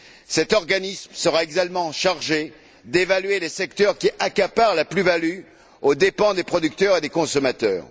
Cet organisme sera également chargé d'évaluer les secteurs qui accaparent la plus value aux dépens des producteurs et des consommateurs.